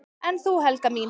"""En þú, Helga mín?"""